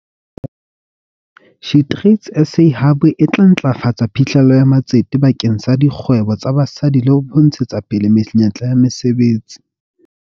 SheTradesZA Hub e tla ntlafatsa phihlello ya matsete bakeng sa dikgwebo tsa basadi le ho ntshetsapele menyetla ya mesebetsi.